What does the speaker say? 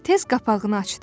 Tez qapağını açdı.